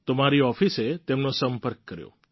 તો મારી ઓફિસે તેમનો સંપર્ક કર્યો